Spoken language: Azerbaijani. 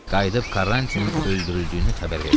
Qayıdıb Karantinin öldürüldüyünü xəbər verdilər.